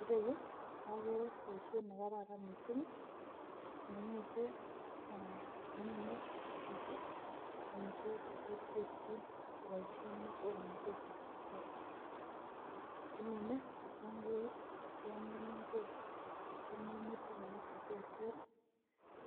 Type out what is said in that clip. Ireyuu okere boishet nekararan missing, nengete ee komine chito omitwoki cheterterchin koboishen muswoknotet ab kasari, kimine kitunguuk, kemiin igwek ak minutik alak cheterter